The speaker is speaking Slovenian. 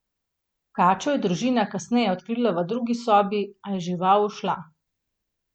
Kačo je družina kasneje odkrila v drugi sobi, a je žival ušla.